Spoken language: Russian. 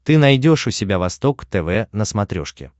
ты найдешь у себя восток тв на смотрешке